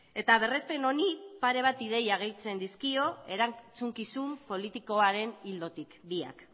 eta berrespen honi pare bat ideia gehitzen dizkio erantzukizun politikoaren ildotik biak